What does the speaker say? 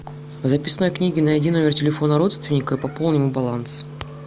в записной книге найди номер телефона родственника и пополни ему баланс